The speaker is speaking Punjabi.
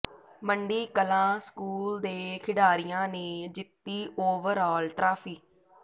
ਮੰਡੀ ਕਲਾਂ ਸਕੂਲ ਦੇ ਖਿਡਾਰੀਆਂ ਨੇ ਜਿੱਤੀ ਓਵਰਆਲ ਟਰਾਫੀ